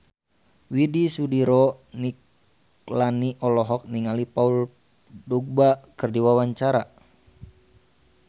Widy Soediro Nichlany olohok ningali Paul Dogba keur diwawancara